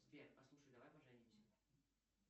сбер послушай давай поженимся